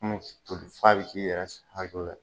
f'a bɛ k'i yɛrɛ hakili la ye.